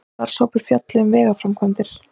Starfshópur fjalli um vegaframkvæmdir